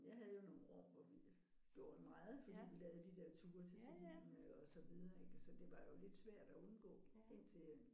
Jeg havde jo nogle år hvor vi gjorde det meget fordi vi lavede de der ture til Sardinien og så videre ik så det var jo lidt svært at indgå indtil øh